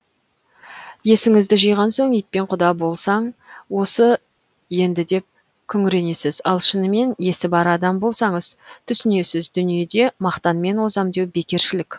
есіңізді жиған соң итпен құда болсаң осы енді деп күңіренесіз ал шынымен есі бар адам болсаңыз түсінесіз дүниеде мақтанмен озам деу бекершілік